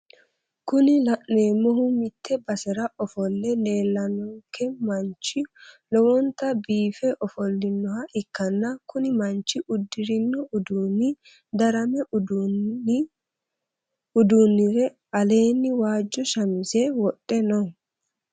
kunni la'neemohu mitte basera ofolle leellanonkehu manchu lowonta biife ofolinoha ikkanna kuni manchi uddirino uduuni darame uddire aleeni waajo shamise wodhe no.